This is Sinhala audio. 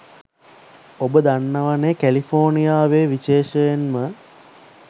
ඔබ දන්නවනෙ කැලිෆෝනියාවේ විශේෂයෙන්ම